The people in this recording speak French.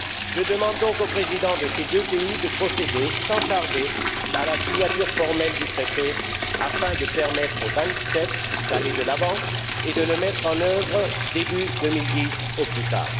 Je demande donc aux présidents de ces deux pays de procéder, sans tarder, à la signature formelle du Traité afin de permettre aux Vingt sept d'aller de l'avant et de le mettre en œuvre début 2010 au plus tard.